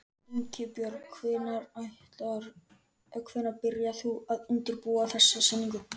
Ingibjörg, hvenær byrjaðir þú að undirbúa þessa sýningu?